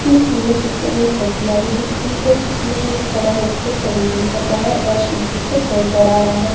इसमें सुंदर सुंदर पत्तिया भी दिख रही है जिसमें यह खड़ा होकर प्रणाम कर रहा है और शिव जी को जल चढ़ा रहा है।